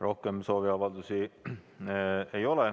Rohkem sooviavaldusi ei ole.